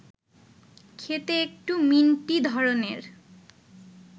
খেতে একটু মিন্টি ধরনের